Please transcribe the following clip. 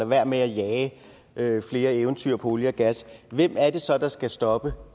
være med at jage flere eventyr på olie og gas hvem er det så der skal stoppe